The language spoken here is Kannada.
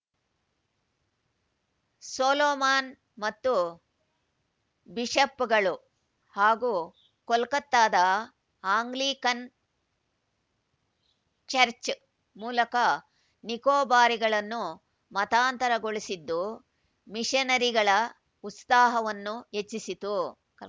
ಸೊಲೊಮಾನ್‌ ಮತ್ತು ಬಿಷಪ್‌ಗಳು ಹಾಗೂ ಕೊಲ್ಕತ್ತಾದ ಆಂಗ್ಲಿಕನ್‌ ಚರ್ಚ್ ಮೂಲಕ ನಿಕೋಬಾರಿಗಳನ್ನು ಮತಾಂತರಗೊಳಿಸಿದ್ದು ಮಿಷನರಿಗಳ ಉತ್ಸಾಹವನ್ನು ಹೆಚ್ಚಿಸಿತು